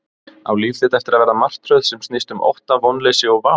Á líf þitt eftir að verða martröð sem snýst um ótta, vonleysi og vá?